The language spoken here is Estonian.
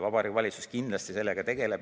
Vabariigi Valitsus kindlasti sellega tegeleb.